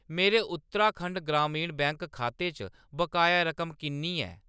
मेरे उत्तराखंड ग्रामीण बैंक खाते च बकाया रकम किन्नी ऐ ?